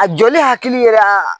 A jɔli hakili yɛrɛ a